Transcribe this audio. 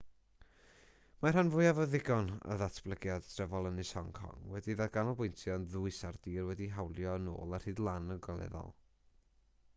mae'r rhan fwyaf o ddigon o ddatblygiad trefol ynys hong kong wedi'i ganolbwyntio'n ddwys ar dir wedi'i hawlio yn ôl ar hyd y lan ogleddol